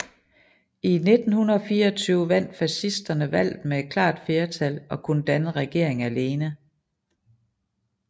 I 1924 vandt fascisterne valget med et klart flertal og kunne danne regering alene